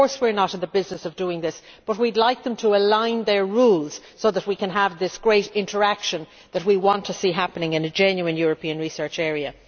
Of course we are not in the business of doing this, but we would like them to align their rules so that we can have this great interaction that we want to see happening in a genuine European Research Area.